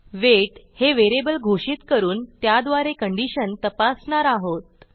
weight हे variable घोषित करून त्याद्वारे कंडिशन तपासणार आहोत